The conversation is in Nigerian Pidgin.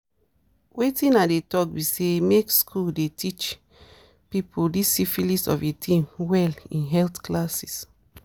wetin i dey talk be say make school the teache people this syphilis of a thing well in health classes